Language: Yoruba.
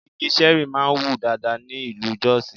Igi Ṣẹ̀rí máa ń wù dáadáa ní ìlú Jọ́sìì.